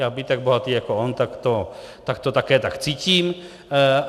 Já být tak bohatý jako on, tak to také tak cítím.